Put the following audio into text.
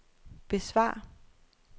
besvar